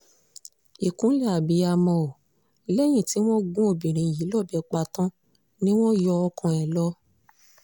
ìkúnlẹ̀ abiyamọ o lẹ́yìn tí wọ́n gún obìnrin yìí lọ́bẹ̀ pa tán ni wọ́n yọ ọkàn ẹ̀ lọ